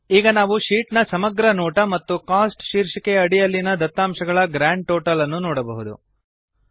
ಈಗ ನಾವು ಶೀಟ್ ನ ಸಮಗ್ರ ನೋಟ ಮತ್ತು ಕೋಸ್ಟ್ ಶೀರ್ಷಿಕೆಯ ಅಡಿಯಲ್ಲಿನ ದತ್ತಾಂಶಗಳ ಗ್ರಾಂಡ್ ಟೋಟಲ್ ಅನ್ನು ನೋಡಬಹುದು